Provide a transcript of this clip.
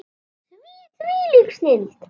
Þvílík snilld!